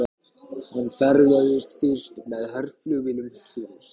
Hann ferðaðist fyrst með herflugvélum til